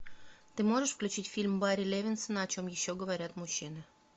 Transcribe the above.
ты можешь включить фильм барри левинсона о чем еще говорят мужчины